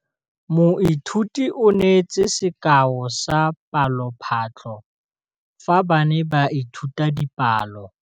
Moithuti o neetse sekaô sa palophatlo fa ba ne ba ithuta dipalo.